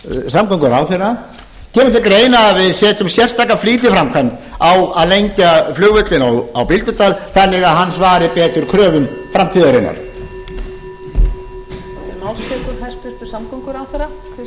samgönguráðherra kemur til greina að við setjum sérstaka flýtiframkvæmd á að lengja flugvöllinn á bíldudal þannig að hann svari betur kröfum framtíðarinnar